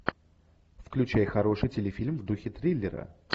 включай хороший телефильм в духе триллера